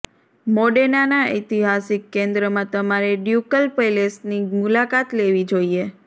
મોડેનાના ઐતિહાસિક કેન્દ્રમાં તમારે ડ્યુકલ પેલેસની મુલાકાત લેવી જોઈએ